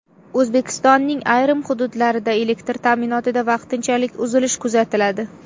O‘zbekistonning ayrim hududlarida elektr ta’minotida vaqtinchalik uzilish kuzatiladi.